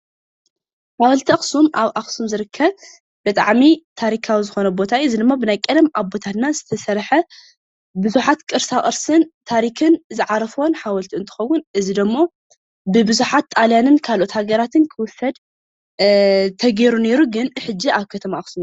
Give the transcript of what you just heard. ሓወልቲ ኣክሱም ኣብ ኣክሱም ዝርከብ ብጣዕሚ ታሪካዊ ዝኮነ ቦታ እዩ፡፡ እዚ ብናይ ቀደም ኣቦታትና ዝተሰርሐ ቡዝሓት ቅርሳ ቅርሲን ታሪክን ዝዓረፎዎ ሓወልቲ እንትከዉን እዚ ደሞ ብቡዝሓት ጣልያንን ካሎኦት ሃገራትን ክዉሰደ ተገይሩ ነይሩ፡፡ ኮይኑ ግን ሕጂ ኣብ ከተማ ኣክሱም ይርከብ።